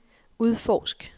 udforsk